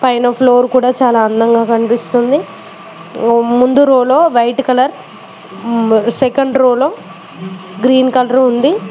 పైన ఫ్లోర్ కూడా చాలా అందంగా కనిపిస్తుంది ముందు రోలో వైట్ కలర్ సెకండ్ రోలో గ్రీన్ కలర్ ఉంది.